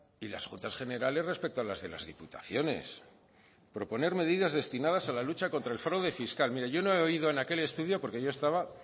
y las juntas generales respecto a las de las diputaciones proponer medidas destinadas a la lucha contra el fraude fiscal mire yo no he oído en aquel estudio porque yo estaba